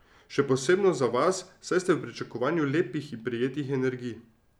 Še posebno za vas, saj ste v pričakovanju lepih in prijetnih energij.